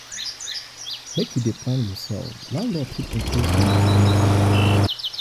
make you dey plan yoursef landlord fit increase rent anytime.